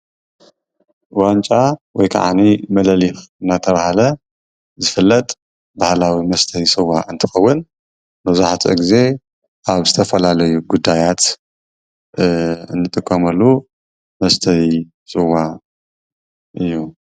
ዋንጫ ወይ ክዓኒ ምልሊኽ እናተብሃለ ዝፍለጥ ባህላዊ መስተዪ ስዋ እንትኸዉን መብዛሕቲኡ ግዜ ኣብ ዝተፈላለዩ ጉዳያት እንጥቀመሉ መስተዪ ስዋ እዩ፡፡